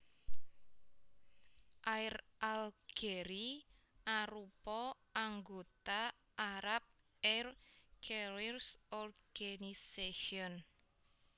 Air Algerie arupa anggota Arab Air Carriers Organization